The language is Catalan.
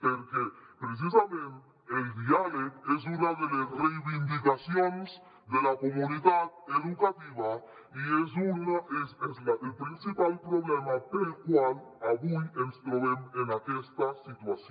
perquè precisament el diàleg és una de les reivindicacions de la comunitat educativa i és el principal problema pel qual avui ens trobem en aquesta situació